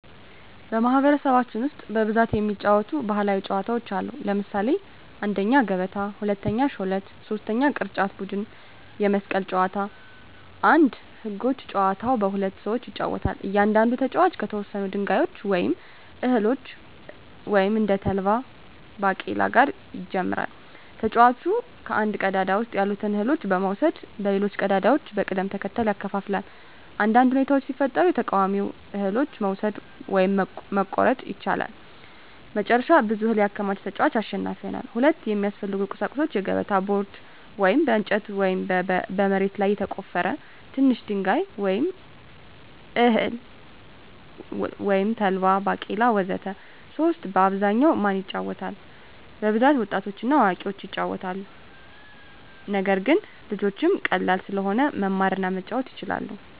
በማኅበረሰባችን ውስጥ በብዛት የሚጫወቱ ባሕላዊ ጨዋታዎች አሉ። ለምሳሌ 1, ገበታ 2, ሾለት 3, ቅርጫት ቡድን የመስቀል ጨዋታ 1. ህጎች : ጨዋታው በሁለት ሰዎች ይጫወታል። እያንዳንዱ ተጫዋች ከተወሰኑ ድንጋዮች ወይም እህሎች (እንደ ተልባ ወይም ባቄላ) ጋር ይጀምራል። ተጫዋቹ ከአንድ ቀዳዳ ውስጥ ያሉትን እህሎች በመውሰድ በሌሎች ቀዳዳዎች በቅደም ተከተል ያከፋፍላል። አንዳንድ ሁኔታዎች ሲፈጠሩ የተቃዋሚውን እህሎች መውሰድ (መቆረጥ) ይቻላል። መጨረሻ ብዙ እህል ያከማቸ ተጫዋች አሸናፊ ይሆናል። 2. የሚያስፈልጉ ቁሳቁሶች: የገበታ ቦርድ (በእንጨት ወይም በመሬት ላይ የተቆፈረ) ትንሽ ድንጋይ ወይም እህል (ተልባ፣ ባቄላ ወዘተ) 3. በአብዛኛው ማን ይጫወታል? በብዛት ወጣቶችና አዋቂዎች ይጫወቱታል። ነገር ግን ልጆችም ቀላል ስለሆነ መማር እና መጫወት ይችላሉ።